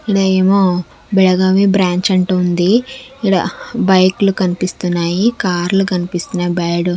ఇడా ఏమో భేగమే బ్రాంచ్ అంట ఉంది ఇడా బైక్ లు కనిపిస్తున్నాయి కార్ లు కనిపిస్తున్నాయి బ్యాడ్--